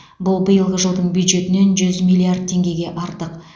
бұл биылғы жылдың бюджетінен жүз миллиард теңгеге артық